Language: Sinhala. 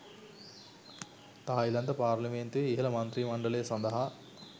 තායිලන්ත පාර්ලිමේන්තුවේ ඉහළ මන්ත්‍රී මණ්ඩලය සඳහා